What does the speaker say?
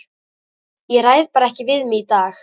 Ég ræð bara ekki við mig í dag.